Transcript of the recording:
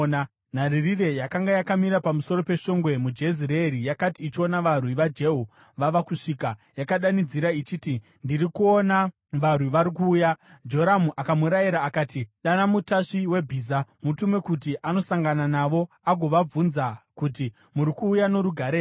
Nharirire yakanga yakamira pamusoro peshongwe muJezireeri yakati ichiona varwi vaJehu vava kusvika, yakadanidzira ichiti, “Ndiri kuona varwi vari kuuya.” Joramu akamurayira akati, “Dana mutasvi webhiza. Mutume kuti anosangana navo agovabvunza kuti, ‘Muri kuuya norugare here?’ ”